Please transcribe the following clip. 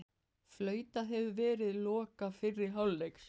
Flautað hefur verið loka fyrri hálfleiks